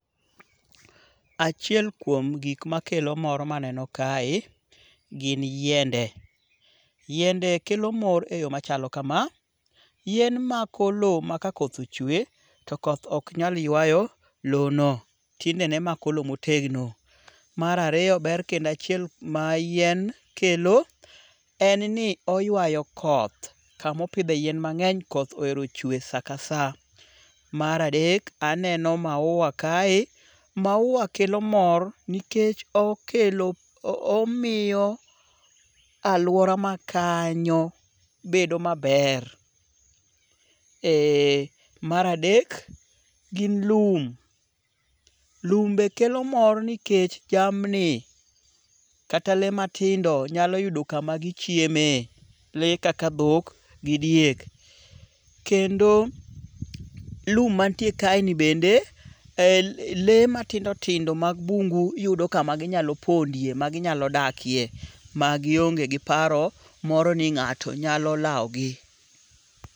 Achiel kuom gik makelo mor ma aneno kae gin yiende. Yiende kelo mor e yo machalo kama. Yien mako lowo ma ka koth ochwe to koth ok nyal ywayo lowo no. Tiendene mako lowo motegno. Mar ariyo ber kendo achiel ma yien kelo en ni oywayo koth. Kamopidhe yien mang'eny koth ohero chwe saka sa. Mar adek, aneno maua kae. Maua kelo mor nikech okelo omiyo aluora ma kanyo bedo maber. Mar adek, gin lum. Lum be kelo mor nikech jamni, kata le matindo nyalo yudo kama gichieme. Le kaka dhok gi diek. Kendo lum mantie kae bende, le matindo tindo mag bungu yudo kama ginyalo pondie ma ginyalo dakie ma gionge gi paro moro ni ng'ato nyalo lawo gi.